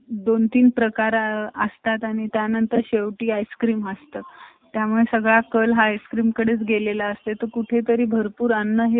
आपल्याला कधीच problem येणार नाही problem येयील पण असा एवढा difference मध्ये येयील अस मला वाटत नाही job करना खूप अवघड झालाय